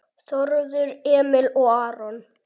Þórður Emil og Aron